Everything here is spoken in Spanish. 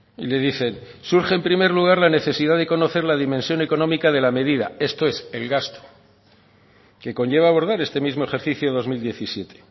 y le dicen surge en primer lugar la necesidad de conocer la dimensión económica de la medida esto es el gasto que conlleva abordar este mismo ejercicio dos mil diecisiete